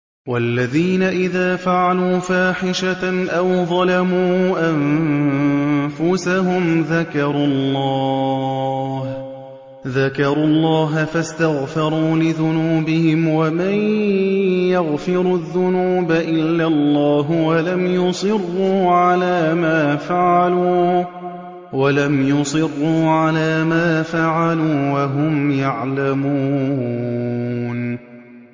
وَالَّذِينَ إِذَا فَعَلُوا فَاحِشَةً أَوْ ظَلَمُوا أَنفُسَهُمْ ذَكَرُوا اللَّهَ فَاسْتَغْفَرُوا لِذُنُوبِهِمْ وَمَن يَغْفِرُ الذُّنُوبَ إِلَّا اللَّهُ وَلَمْ يُصِرُّوا عَلَىٰ مَا فَعَلُوا وَهُمْ يَعْلَمُونَ